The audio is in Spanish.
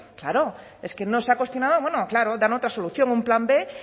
claro es que no se ha cuestionado claro dan otra solución un plan b